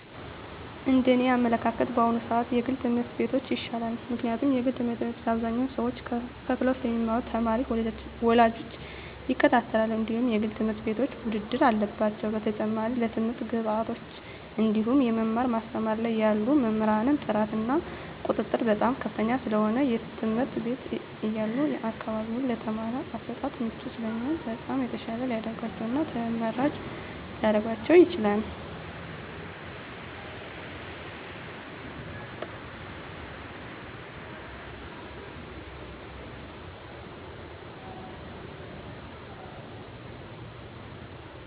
እንደ እኔ አመለካከት በአሁኑ ስዓት የግል ትምህርት ቤቶች ይሻላል ምክንያቱም የግል ትምህርት ቤት አብዛኞቹ ሰዎች ከፈለው ስለሚማሩ ተማሪ ወላጆች ይከታተላሉ እንድሁም የግል ትምህርት ቤቶች ውድድር አለባቸው በተጨማሪም ለትምህርት ግብዓቶች እንድሁም የመማር ማስተማር ላይ ያሉ መምህራን ጥራት እና ቁጥጥር በጣም ከፍተኛ ስለሆነ የትምህርት ቤት ያሉ አካባቢው ለትምህርት አሰጣጥ ምቹ ስለሚሆኑ በጣም የተሻለ ሊደርጋቸው እና ተመራጭ ሊረጋቸው ይችላል።